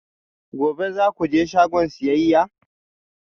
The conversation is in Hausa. Gobe ​​za ku je shagon siyayya?